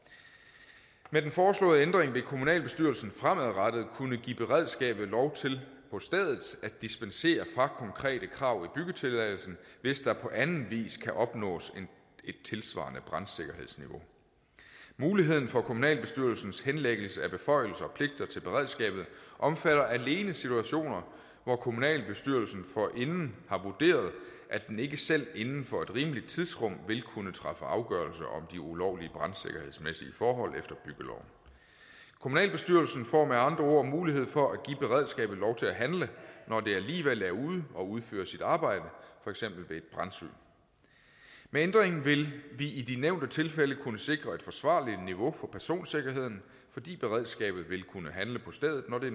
med den foreslåede ændring vil kommunalbestyrelsen fremadrettet kunne give beredskabet lov til på stedet at dispensere fra konkrete krav i byggetilladelsen hvis der på anden vis kan opnås et tilsvarende brandsikkerhedsniveau muligheden for kommunalbestyrelsens henlæggelse af beføjelser og pligter til beredskabet omfatter alene situationer hvor kommunalbestyrelsen forinden har vurderet at den ikke selv inden for et rimeligt tidsrum vil kunne træffe afgørelse om de ulovlige brandsikkerhedsmæssige forhold efter byggeloven kommunalbestyrelsen får med andre ord mulighed for at give beredskabet lov til at handle når det alligevel er ude og udføre sit arbejde for eksempel ved et brandsyn med ændringen vil vi i de nævnte tilfælde kunne sikre et forsvarligt niveau for personsikkerheden fordi beredskabet vil kunne handle på stedet når det